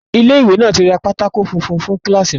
Ilé ìwé náà tí ra pátákó funfun fún kíláàsì náà